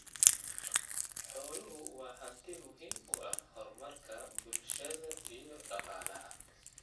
Xooluhu waa hanti muhiim u ah horumarka bulshada iyo dhaqaalaha.